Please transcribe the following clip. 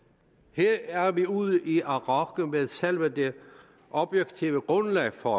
her er vi ude i at rokke ved selve det objektive grundlag for